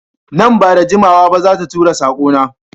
Nan ba da jimawa ba za ta tura sako na